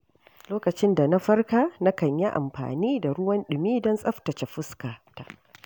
Lokacin da na farka na kan yi amfani da ruwan dumi don tsaftace fuskata.